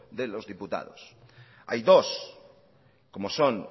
de los diputados hay dos como son